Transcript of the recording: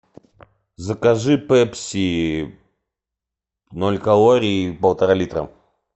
закажи пепси ноль калорий полтора литра